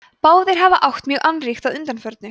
báðir hafa átt mjög annríkt að undanförnu